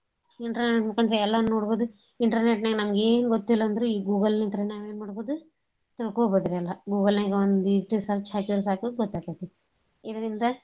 Internet ಮುಕಾಂತ್ರ ಎಲ್ಲಾ ನೋಡ್ಬೋದು internet ನ್ಯಾಗ ನಮ್ಗ ಎನ್ ಗೊತ್ತಿಲ್ ಅಂದ್ರು ಈ Google ಲಿಂತ್ರಾನ ನಾವ್ ಎನ್ ಮಾಡ್ಬೋದು ತಿಳ್ಕೋಬೋದ್ ರಿ ಎಲ್ಲಾ Google ನ್ಯಾಗ ಒಂದೀಟ search ಹಾಕೀದ್ರ ಸಾಕ ಗೊತ್ತಾಕೇತ್ರಿ ಇದ್ರಿಂದಾ.